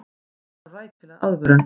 Hann þarf rækilega aðvörun.